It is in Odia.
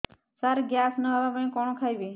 ସାର ଗ୍ୟାସ ନ ହେବା ପାଇଁ କଣ ଖାଇବା ଖାଇବି